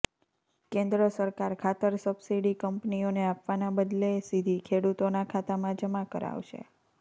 કેન્દ્ર સરકાર ખાતર સબસીડી કંપનીઓને આપવાના બદલે સીધી ખેડૂતોના ખાતામાં જમા કરાવશે